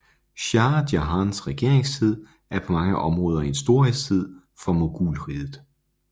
Shah Jahans regeringstid er på mange områder en storhedstid for mogulriget